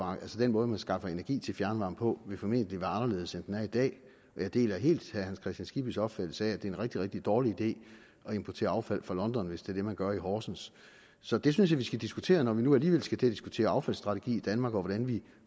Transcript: den måde man skaffer energi til fjernvarme på vil formentlig være anderledes end den er i dag jeg deler helt herre hans kristian skibbys opfattelse af at det er en rigtig rigtig dårlig idé at importere affald fra london hvis det er det man gør i horsens så det synes jeg vi skal diskutere når vi nu alligevel skal diskutere affaldsstrategi i danmark og hvordan vi